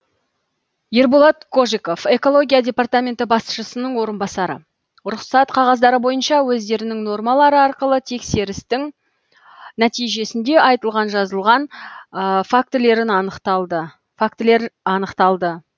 ерболат кожиков экология департаменті басшысының орынбасары рұқсат қағаздары бойынша өздерінің нормалары арқылы тексерістің нәтижесінде айтылған жазылған фактілер анықталды